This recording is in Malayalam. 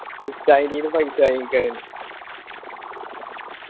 ഉസ്താദിന്റെ കയ്യിന്ന് paisa വാങ്ങിക്കാണ്